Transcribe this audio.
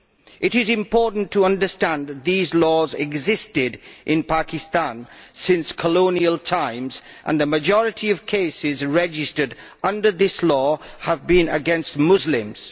It is important to understand that these laws have existed in Pakistan since colonial times and that the majority of cases registered under this law have been against Muslims.